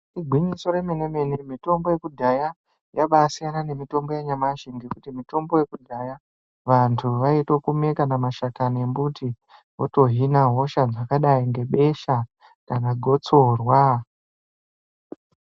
Igwinyiso remenemene, mitombo yekudhaya yaba asiyana nemitombo yanyamashi, ngekuti mitombo yekudhaya vantu vaito kume kana mashakani embuti votohina hosha dzakadayi ngebesha kana gotsorwa.